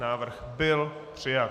Návrh byl přijat.